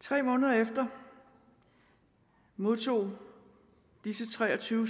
tre måneder efter modtog disse tre og tyve